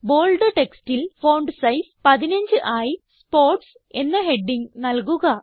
bold textൽ font size 15 ആയി sports എന്ന ഹെഡിംഗ് നല്കുക